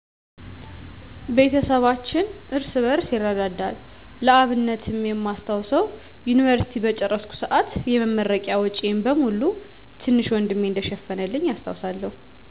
ቤተሰባችን እርስ በርስ ይረዳዳል። ለአብነትም የማስታውሰው፣" የዮኒቨርሲቲ" በጨረስኩ ሰአት የመረቂያ ወጨን በሙሉ ትንሽ ወንድሜ እንደሸፈነልኝ አስታውሳለሁ።